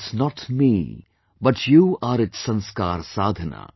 It is not me, but you are its Sanskar Sadhana